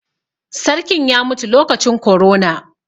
Sarkin ya mutu lokacin korona.